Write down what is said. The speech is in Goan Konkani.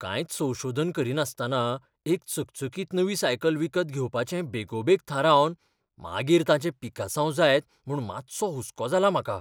कांयच संशोधन करिनासतना एक चकचकीत नवी सायकल विकत घेवपाचें बेगोबेग थारावन मागीर ताचें पिकासांव जायत म्हूण मातसो हुसको जाला म्हाका.